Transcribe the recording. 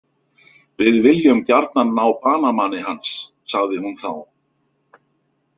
Við viljum gjarnan ná banamanni hans, sagði hún þá.